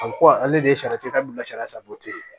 A ko ale de ye saridabila sari ye